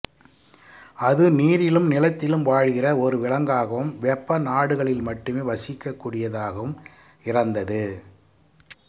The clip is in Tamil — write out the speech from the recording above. அது நீரிலும் நிலத்திலும் வாழ்கிற ஒரு விலங்காகவும் வெப்ப நாடுகளில் மட்டுமே வசிக்கக்கூடியதாகவும் இரந்தது